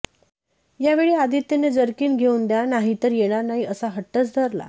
यावेळी आदित्यने जर्किन घेऊन द्या नाहीतर येणार नाही असा हट्टच धरला